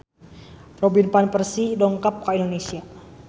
Robin Van Persie dongkap ka Indonesia